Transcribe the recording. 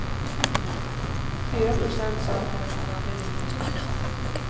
Fyra procent sa att de nästan aldrig ringer som de sagt.